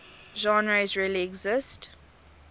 genres really exist